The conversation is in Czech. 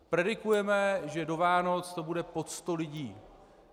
Predikujeme, že do Vánoc to bude pod 100 lidí.